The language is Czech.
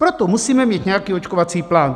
Proto musíme mít nějaký očkovací plán.